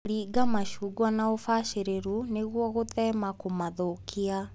Rĩnga macungwa na ũbacĩrĩru nĩguo gũthema kũmathũkia.